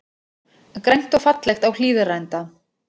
Grænt og fallegt á Hlíðarenda